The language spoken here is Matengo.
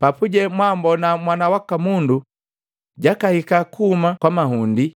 Papuje mwambona, Mwana waka Mundu, jakahika kuhuma kwa mahundi